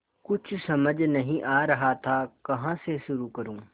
कुछ समझ नहीं आ रहा था कहाँ से शुरू करूँ